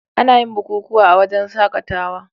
Anayin bukukuwa a wajan shakatawa